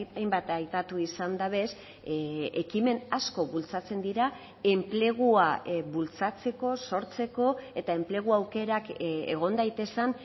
hainbat aipatu izan dabez ekimen asko bultzatzen dira enplegua bultzatzeko sortzeko eta enplegu aukerak egon daitezen